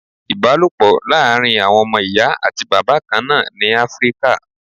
Ìbálòpọ̀ láàrin àwọn ọmọ Ìyá àti Bàbá kan náà ni Áfríkà.